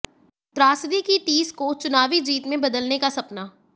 त्रासदी की टीस को चुनावी जीत में बदलने का सपना